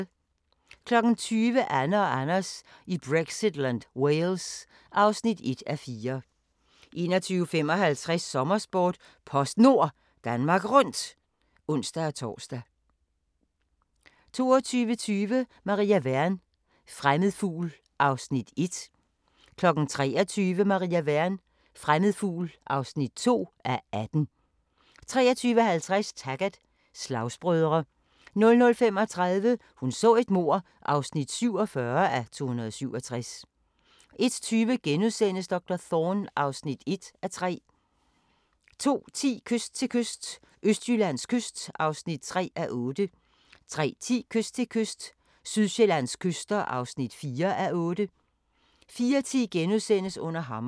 20:00: Anne og Anders i Brexitland: Wales (1:4) 21:55: Sommersport: PostNord Danmark Rundt (ons-tor) 22:20: Maria Wern: Fremmed fugl (1:18) 23:00: Maria Wern: Fremmed fugl (2:18) 23:50: Taggart: Slagsbrødre 00:35: Hun så et mord (47:267) 01:20: Doktor Thorne (1:3)* 02:10: Kyst til kyst – Østjyllands kyst (3:8) 03:10: Kyst til kyst – Sydsjællands kyster (4:8) 04:10: Under hammeren *